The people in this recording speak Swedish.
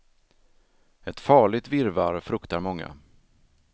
Ett farligt virrvarr, fruktar många.